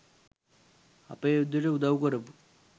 අපේ යුද්දෙට උදව් කරපු